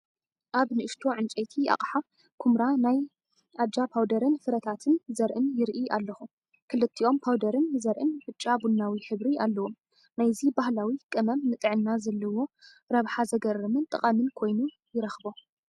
ኣብ ንእሽቶ ዕንጨይቲ ኣቕሓ ኵምራ ናይ ኣጃ ፓውደርን ፍረታትን (ዘርእን) ይርኢ ኣለኹ። ክልቲኦም ፓውደርን ዘርእን ብጫ-ቡናዊ ሕብሪ ኣለዎም። ናይዚ ባህላዊ ቀመም ንጥዕና ዘለዎ ረብሓ ዘገርምን ጠቓምን ኮይኑ ይረኽቦ።